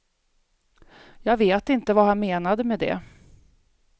Jag vet inte vad han menade med det.